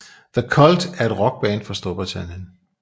The Cult er et rockband fra Storbritannien